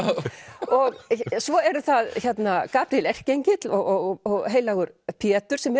og svo eru það Gabríel erkiengill og heilagur Pétur sem